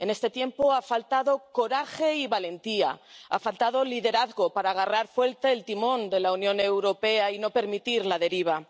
En este tiempo ha faltado coraje y valentía, ha faltado liderazgo para agarrar fuerte el timón de la Unión Europea y no permitir la deriva.